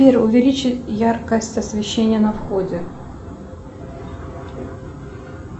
сбер увеличь яркость освещения на входе